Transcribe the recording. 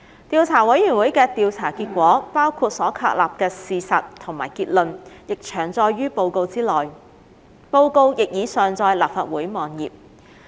調査委員會的調查結果，包括所確立的事實及結論，已詳載於報告內，報告亦已上載立法會網頁。